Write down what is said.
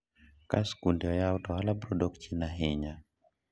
ka sikunde oyaw to ohala biro dok chien ahinya